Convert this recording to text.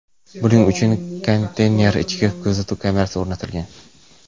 Buning uchun konteyner ichiga kuzatuv kamerasi o‘rnatilgan.